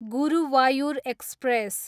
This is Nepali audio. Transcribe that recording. गुरुवायुर एक्सप्रेस